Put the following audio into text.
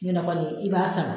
N'i bɛna bɔ de i b'a